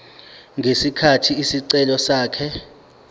ngesikhathi isicelo sakhe